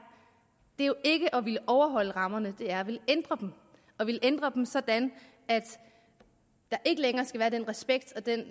at ville overholde rammerne det er at ville ændre dem og ville ændre dem sådan at der ikke længere skal være den respekt og den